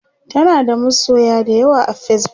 tanada masoya da yawa a Facebook